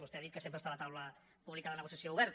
vostè ha dit que sempre està la taula pública de negociació oberta